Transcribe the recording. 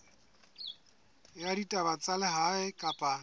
ya ditaba tsa lehae kapa